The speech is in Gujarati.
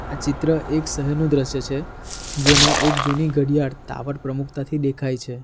આ ચિત્ર એક શહેરનું દ્રશ્ય છે જેમાં એક જૂની ઘડિયાળ ટાવર પ્રમુખતા થી દેખાય છે.